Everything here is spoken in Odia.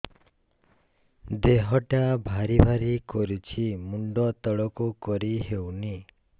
ଦେହଟା ଭାରି ଭାରି କରୁଛି ମୁଣ୍ଡ ତଳକୁ କରି ହେଉନି